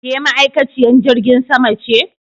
Ke ma'aikaciyen jirgin sama ce